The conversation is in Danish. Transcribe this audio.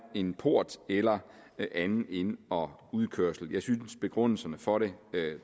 en port eller anden ind og udkørsel jeg synes begrundelserne for det